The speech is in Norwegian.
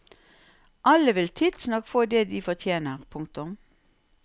Alle vil tidsnok få det de fortjener. punktum